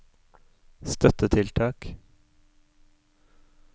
støttetiltak